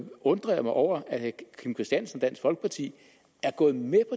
undrer mig over at herre kim christiansen og dansk folkeparti er gået med